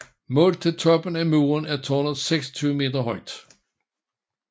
Målt til toppen af muren er tårnet 26 meter højt